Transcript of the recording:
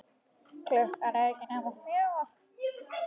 Klukkan er ekki nema fjögur.